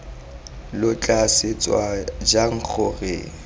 lo tla swetsa jang gore